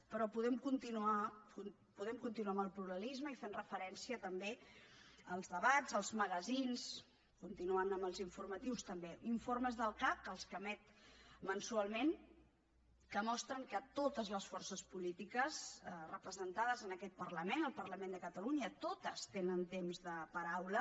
però podem continuar amb el pluralisme i fent referència també als debats als magazins continuant amb els informatius també informes del cac els que emet mensualment que mostren que totes les forces polítiques representades en aquest parlament el parlament de catalunya totes tenen temps de paraula